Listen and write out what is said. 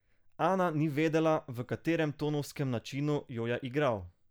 Ana ni vedela, v katerem tonovskem načinu jo je igral.